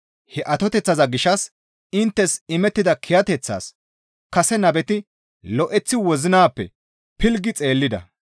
He atoteththaza gishshas inttes imettana kiyateththaas kase nabeti lo7eththi wozinappe pilggi xeellida.